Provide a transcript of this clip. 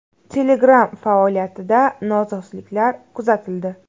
Telegram faoliyatida nosozliklar kuzatildi.